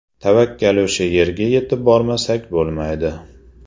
Tavakkal o‘sha yerga yetib bormasak bo‘lmaydi.